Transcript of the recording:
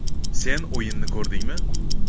Sen o‘yinni ko‘rdingmi?